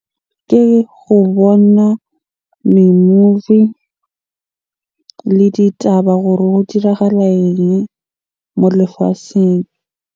Ke go bona di-movie le ditaba gore ho go dirahala eng mo lefatsheng?